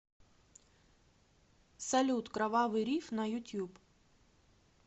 салют кровавый риф на ютуб